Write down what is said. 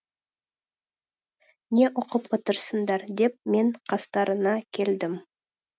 не оқып отырсыңдар деп мен қастарына келдім